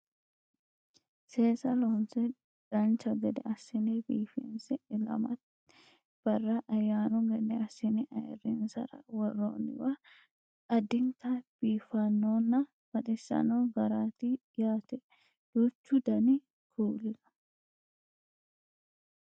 seesa loonse dancha gede assine biifinse ilamate barra ayaaanu gede assine ayeerrinsara worroonniwi addinta biifannonnna baxisanno garaati yaate duuchu dani kuuli no